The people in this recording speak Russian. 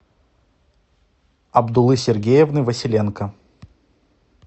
абдулы сергеевны василенко